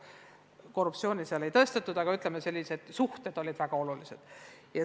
Korruptsiooni ei tõestatud, aga ütleme, et suhted olid väga olulised.